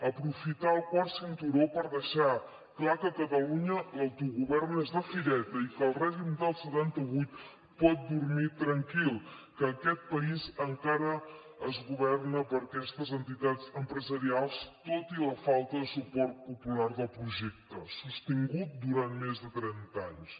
aprofitar el quart cinturó per deixar clar que a catalunya l’autogovern és de fireta i que el règim del setanta vuit pot dormir tranquil que aquest país encara es governa per aquestes entitats empresarials tot i la falta de suport popular del projecte sostinguda durant més de trenta anys